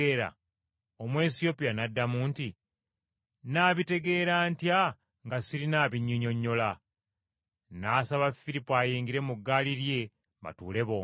Omwesiyopya n’addamu nti, “Nnaabitegeera ntya nga sirina abinnyinnyonnyola?” N’asaba Firipo ayingire mu ggaali lye batuule bombi.